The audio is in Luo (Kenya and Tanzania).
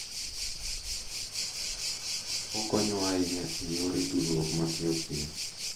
Okonyowa ahinya e yor tudruok mapiyo piyo.